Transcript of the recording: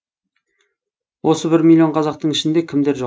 осы бір миллион қазақтың ішінде кімдер жоқ